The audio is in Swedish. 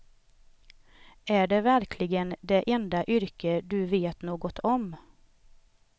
Är det verkligen det enda yrke du vet något om.